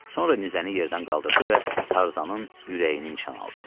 Sonra nizəni yerdən qaldırdı və Tarzanın ürəyini nişan aldı.